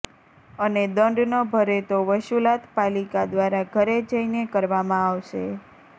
અને દંડ ન ભરે તો વસૂલાત પાલિકા દ્વારા ઘરે જઈને કરવામાં આવશે